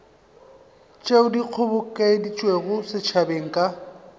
tšeo di kgobokeditšwego setšhabeng ka